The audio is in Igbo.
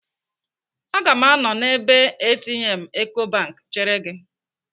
Aga m anọ n'ebe ATM Ecobank chere gị.